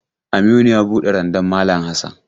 Aminu ya buɗe randan malam Hassan.